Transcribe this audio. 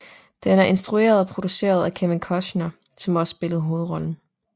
Den er instrueret og produceret af Kevin Costner som også spillede hovedrollen